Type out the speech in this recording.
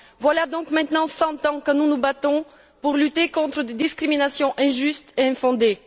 Voilà donc maintenant cent ans que nous nous battons pour lutter contre des discriminations injustes et infondées.